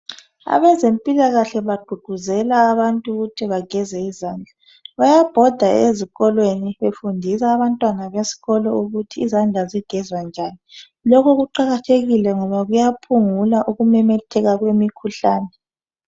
Abezempilakahle baqguqguzela abantu ukuthi bageze izandla . Bayabhoda ezikolweni befundisa abantwana besikolo ukuthi izandla zigezwa njani. Lokho kuqakathekile ngoba kuyaphungula ukumemetheka kwemikhuhlane.